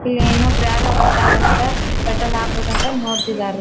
ಇಲ್ ಏನೋ ಭರ್ತಾರಂಥ ಪೆಟ್ರೋಲ್ ಹಾಕ್ಬೇಕ್ ಅಂತ ನೋಡ್ತಿದ್ದಾರ್ ರೀ.